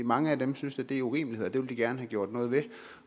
mange af dem synes da det er urimeligheder og det vil de gerne have gjort noget ved